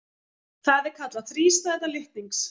Það er kallað þrístæða litnings.